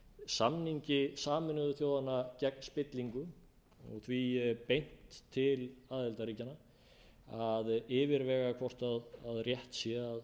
samningi sameinuðu þjóðanna gegn spillingu og því beint til aðildarríkjanna að yfirvega hvort rétt sé